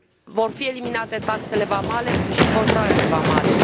Vor fi eliminate taxele vamale și controalele vamale.